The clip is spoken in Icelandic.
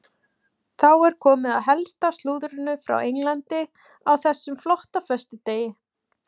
Þá er komið að helsta slúðrinu frá Englandi á þessum flotta föstudegi.